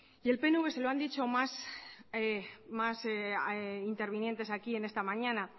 y el pnv se lo han dicho más intervinientes aquí en esta mañana